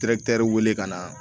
w bɛ ka na